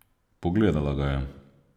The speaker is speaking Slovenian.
Pogledala ga je.